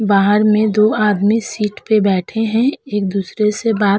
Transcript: बाहर में दो आदमी सीट पर बैठे हैं। एक दूसरे से बात --